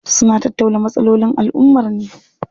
Suna tattauna matsalolin alummar ne.